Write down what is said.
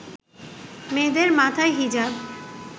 মেয়েদের মাথায় হিজাব